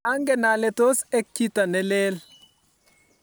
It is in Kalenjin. angen ale tos ek chito ne lel